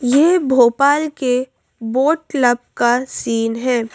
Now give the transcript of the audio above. ये भोपाल के boat club का सीन है।